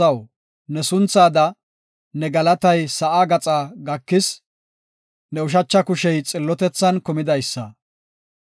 Abeeti Xoossaw, ne sunthada ne galatay sa7aa gaxaa gakis; ne ushacha kushey xillotethan kumidaysa.